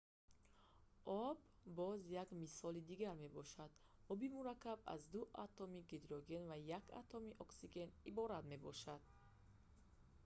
об боз як мисоли дигар мебошад оби мураккаб аз ду атоми гидроген ва як атоми оксиген иборат мебошад